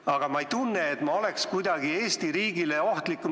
Aga ma ei tunne, et ma oleksin kuidagi Eesti riigile ohtlikum.